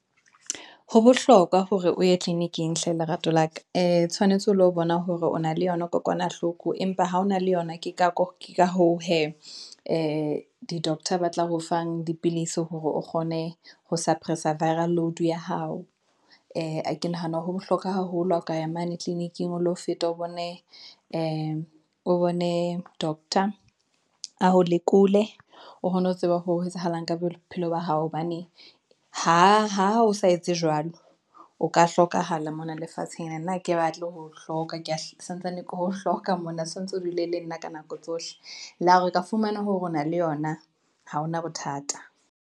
Ho bohlokwa hore o ye tleliniking hle lerato laka, ee tshwanetse o lo bona hore o na le yona kokwanahloko, empa ha hona le yona ke ka hoo hee, ee di-doctor ba tla ho fang dipilisi hore o kgone ho suppress-a viral load ya hao. Ee, ke nahana ho bohlokwa haholo ha ka ya mane tleliniking o lo feta, o bone doctor a o lekole, ohone ho tseba ho etsahalang ka bophelo ba hao, hobane ha o sa etse jwalo, o ka hlokahala mona lefatsheng. Ene nna ha ke batle ho hloka, ke ke santsane ke ho hloka mona, santse o dule le nna ka nako tsohle, la ha re ka fumana hore o na le yona, ha hona bothata.